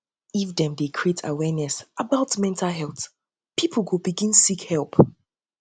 if um dem dey create awareness about mental health um pipo go begin seek help